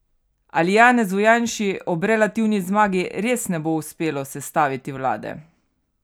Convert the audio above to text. Ali Janezu Janši ob relativni zmagi res ne bo uspelo sestaviti vlade?